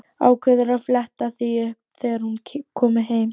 Ákveður að fletta því upp þegar hún komi heim.